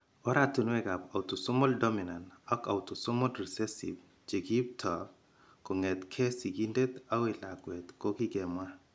Oratinwekab autosomal dominant ak Autosomal recessive che kiipto kong'etke sigindet akoi lakwet ko kikemwa.